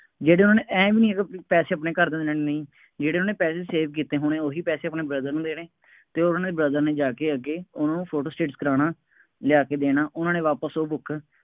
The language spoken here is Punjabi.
ਜਿਦਣ ਉਹਨੇ ਆਂਏਂ ਵੀ ਨਹੀਂ ਹੈਗਾ ਬਈ ਪੈਸੇ ਆਪਣੇ ਘਰਦਿਆਂ ਨੂੰ ਦੇਣੇ ਨਹੀਂ, ਜਿਹੜੇ ਉਹਨਾ ਨੇ ਪੈਸੇ save ਕੀਤੇ ਹੋਣੇ, ਉਹੀ ਪੈਸੇ ਆਪਣੇ brother ਨੂੰ ਦੇਣੇ ਅਤੇ ਉਹਨਾ ਨੇ brother ਨੇ ਜਾ ਕੇ ਅੱਗੇ ਉਹਨਾ ਨੂੰ ਫੋਟੋ ਸਟੇਟ ਕਰਾਉਣਾ, ਲਿਆ ਕੇ ਦੇਣਾ, ਉਹਨਾ ਨੇ ਵਾਪਸ ਉਹ book